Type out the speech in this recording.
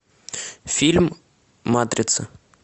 фильм матрица